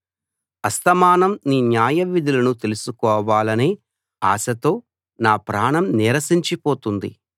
అస్తమానం నీ న్యాయవిధులను తెలుసుకోవాలనే ఆశతో నా ప్రాణం నీరసించిపోతోంది